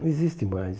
Não existe mais.